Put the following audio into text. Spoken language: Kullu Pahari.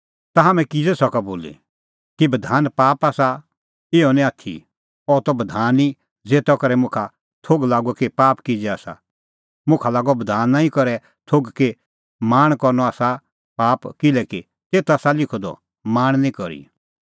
ता हाम्हैं किज़ै सका बोली कि बधान पाप आसा इहअ निं आथी अह त बधान ई ज़ेता करै मुखा थोघ लागअ कि पाप किज़ै आसा मुखा लागअ बधाना ई करै थोघ कि लाल़च़ करनअ आसा पाप किल्हैकि तेथ आसा लिखअ द लाल़च़ निं करी